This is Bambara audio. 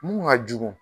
Mun ka jugu